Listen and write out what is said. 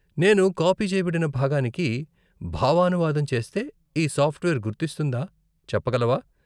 నేను కాపీ చేయబడిన భాగానికి భావానువాదం చేస్తే ఈ సాఫ్ట్వేర్ గుర్తిస్తుందా చెప్పగలవా?